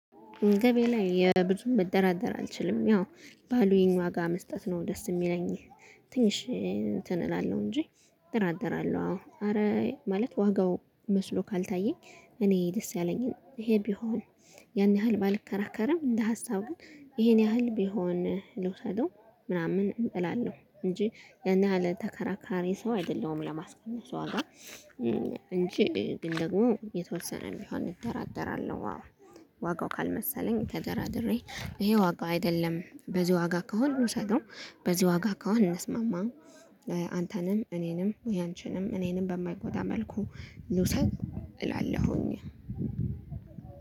ገበያ ላይ የብዙ መደራደር አልችልም ያው ባሉኝ ዋጋ መስጠት ነው ደስ የሚለኝ ትንሽ እንትን እላለሁ እንጂ። እደራደለሁ አዎ ኸረ ማለት ዋጋው መስሎ ካልታየኝ እኔ ደስ ያለኝን ይሄ ቢሆን ያን ያህል ባልከራከርም እንደ ሀሳብ ግን ይሄን ያህል ቢሆን ልውሰደው ምናምን እላለሁ እንጂ ያን ያህል ተከራካሪ ሰው አይደለሁም ለማስቀነስ ዋጋ። እንጂ ግን ደግሞ የተወሰነ ቢሆን እደራደራለሁ። ዋጋው ካልመሰለኝ ተደራድሬ ይሄ ዋጋ አይደለም በዚህ ዋጋ ከሆነ ልውሰደው በዚህ ዋጋ ከሆነ አንስማማም። አንተንም እኔንም ወይ አንቺንም እኔንም በማይጎዳ መልኩ ልውሰድ እላለሁኝ።